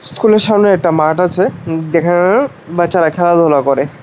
স্কুলের সামনে একটা মাঠ আছে যেখানে বাচ্চারা খেলাধুলা করে।